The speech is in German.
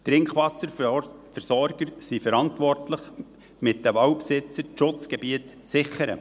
Die Trinkwasserversorger sind zusammen mit den Waldbesitzern dafür verantwortlich, die Schutzgebiete zu sichern.